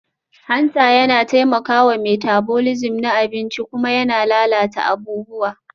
Hanta yana taimakawa metabolism na abinci kuma yana lalata abubuwa